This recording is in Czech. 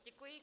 Děkuji.